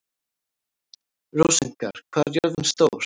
Rósinkar, hvað er jörðin stór?